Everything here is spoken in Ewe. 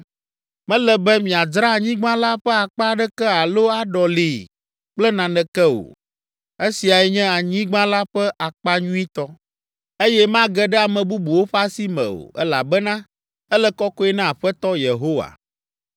Mele be miadzra anyigba la ƒe akpa aɖeke alo aɖɔlii kple naneke o. Esiae nye anyigba la ƒe akpa nyuitɔ, eye mage ɖe ame bubuwo ƒe asi me o, elabena ele kɔkɔe na Aƒetɔ Yehowa.